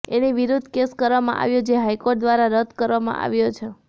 એની વિરૂદ્ધ કેસ કરવામાં આવ્યો જે હાઇકોર્ટ દ્વારા રદ્દ કરવામાં આવ્યો છે